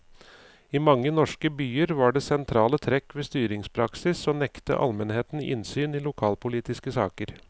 I mange norske byer var det sentrale trekk ved styringspraksis å nekte almenheten innsyn i lokalpolitiske saker.